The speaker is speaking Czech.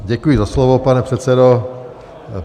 Děkuji za slovo, pane předsedo.